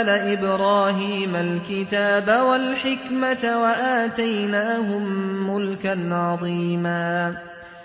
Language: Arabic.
آلَ إِبْرَاهِيمَ الْكِتَابَ وَالْحِكْمَةَ وَآتَيْنَاهُم مُّلْكًا عَظِيمًا